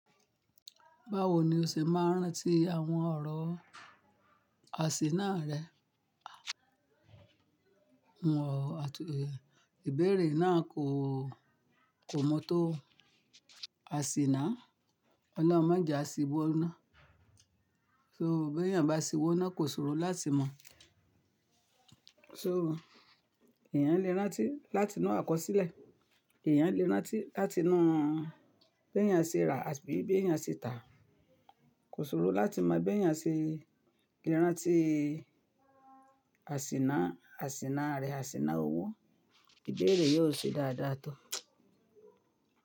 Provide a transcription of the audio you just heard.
Báwo ni o ṣe máa ń rántí àwọn ọ̀rọ̀ àsíná rẹ? Àwọn ìbéèrè náà kò, kò mọ́ tó àsíná. Ọlorun mọjià ṣìbọ iná. So bí èèyàn bá ṣìwọ́ iná kò ṣòro láti mọ̀. So èèyàn lè rántí láti inu àkọsílẹ̀, èèyàn lè rántí láti inu bí èèyàn ṣe rà àbí bí èèyàn ṣe tà. Kò ṣòro láti mọ̀ bí èèyàn ṣe lè rántí àsíná, àsíná rẹ̀, àsíná owó. Ìbéèrè yóò ṣe dáadáa tó.